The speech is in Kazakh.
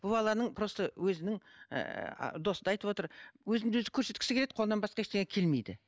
бұл баланың просто өзінің ііі досы да айтып отыр өзін өзі көрсеткісі келеді қолынын басқа ештеңе келмейді